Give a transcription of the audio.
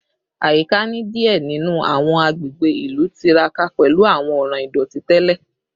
Ayika ni diẹ ninu awọn agbegbe ilu tiraka pẹlu awọn ọran idoti tẹlẹ